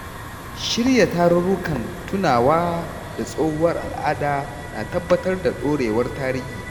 Shirya tarurrukan tunawa da tsohuwar al’ada na tabbatar da dorewar tarihi.